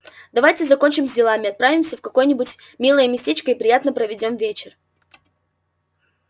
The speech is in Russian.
давайте закончим с делами отправимся в какое-нибудь милое местечко и приятно проведём вечер